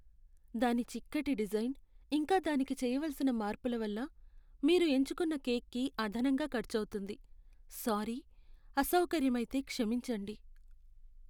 దాని చిక్కటి డిజైన్, ఇంకా దానికి చేయవలసిన మార్పుల వల్ల మీరు ఎంచుకున్నకేక్కి అదనంగా ఖర్చు అవుతుంది, సారీ. అసౌకర్యమైతే క్షమించండి.